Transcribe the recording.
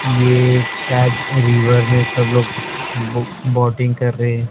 ये एक शायद रिवर में सब लोग बो बोटिंग कर रहे हैं।